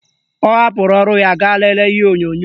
Ọ hapụrụ ọrụ ya gaa lelee ihe onyonyo